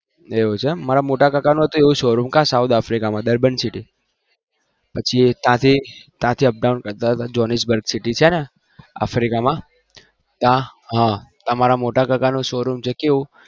એવું છે મારા મોટા પપ્પા ને south africa માં શો રૂમ છે બર્બન city પછી એ ત્યાં થી up down કરતા જોનીસ બર્ગ city છે ને africa ત્યાં હા મારા મોટા કાકા નું શો રુમ છે કેવું